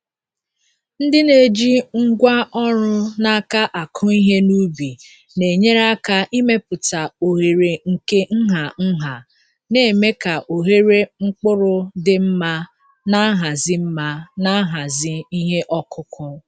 Ndị na-eji ngwa ọrụ n’aka akụ ihe n’ubi na-enyere aka ịmepụta oghere nke nha nha, na-eme ka ohere mkpụrụ dị mma na nhazi mma na nhazi ihe ọkụkụ.